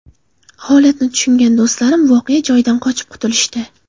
Holatni tushungan do‘stlarim voqea joyidan qochib qutulishdi.